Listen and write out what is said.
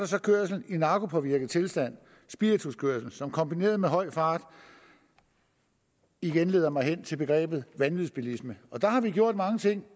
så kørsel i narkopåvirket tilstand og spirituskørsel som kombineret med høj fart igen leder mig hen til begrebet vanvidsbilisme der har vi gjort mange ting